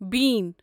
بیٖن